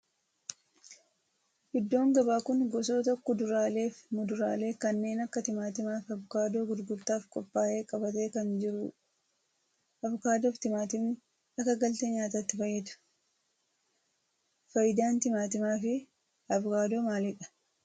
Iddoon gabaa kun gosoota kuduraaalee fi muduraalee kanneen akka timaatimaa fi Avokaadoo gurgurtaaf qophaa'e qabatee kan jiru dha. Avokaadoo fi timaatimni akka galtee nyaatatti fayyaduu. Faayidaan timaatimaa fi avokaadoo maalidha?